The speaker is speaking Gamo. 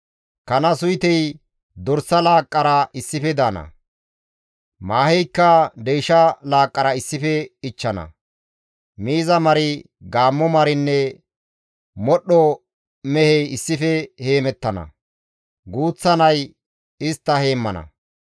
Kana suytey dorsa laaqqara issife daana; maaheykka deysha laaqqara issife ichchana; miiza mari, gaammo marinne modhdho mehey issife heemettana; guuththa nay istta heemmana.